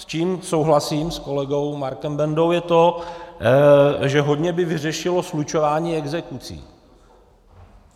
S čím souhlasím s kolegou Markem Bendou, je to, že by hodně vyřešilo slučování exekucí.